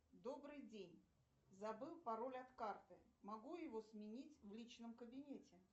добрый день забыл пароль от карты могу его сменить в личном кабинете